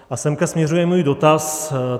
A sem směřuje můj dotaz.